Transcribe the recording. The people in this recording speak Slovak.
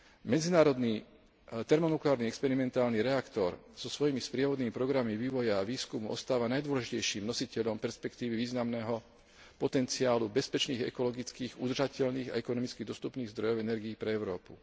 Medzinárodný termonukleárny experimentálny reaktor so svojimi sprievodnými programami vývoja a výskumu ostáva najdôležitejším nositeľom perspektívy významného potenciálu bezpečných, ekologických, udržateľných a ekonomicky dostupných zdrojov energií pre Európu.